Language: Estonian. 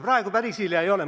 Praegu päris hilja ei ole.